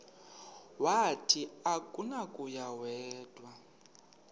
wathi akunakuya wedw